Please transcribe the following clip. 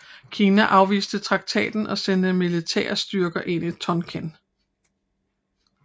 Kina afviste traktaten og sendte militære styrker ind i Tonkin